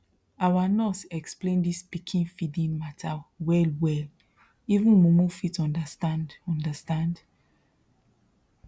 our nurse explain this pikin feeding matter wellwell even mumu fit understand understand